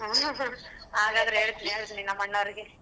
ಹಾಗಾದರೆ ಹೇಳ್ತೀನಿ ಹೇಳ್ತೀನಿ ನಮ್ಮಣ್ಣರಿಗೆ.